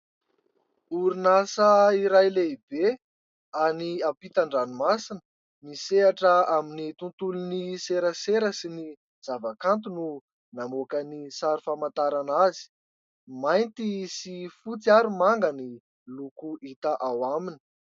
Orinasa iray lehibe any ampitan-dranomasina, misehatra amin'ny tontolon'ny serasera sy ny zavakanto no namoaka ny sary famantarana azy. Mainty sy fotsy ary manga ny loko hita ao aminy.